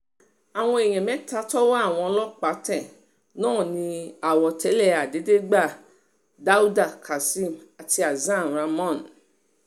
àwọn èèyàn mẹ́ta tọwọ́ àwọn ọlọ́pàá tẹ̀ náà ni àwọ̀délé àdédégbà dáúdà kazeem àti hasan ramón